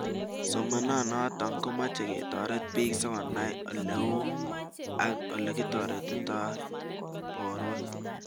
Somanet notok komeche ketaret bik sikonai oleu ak olekitaretitai porwek